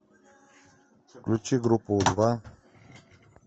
включи группу у два